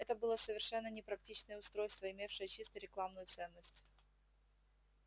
это было совершенно непрактичное устройство имевшее чисто рекламную ценность